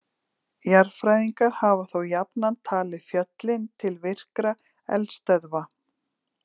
Jarðfræðingar hafa þó jafnan talið fjöllin til virkra eldstöðva.